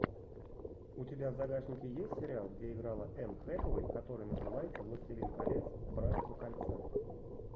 у тебя в загашнике есть сериал где играла энн хэтэуэй который называется властелин колец братство кольца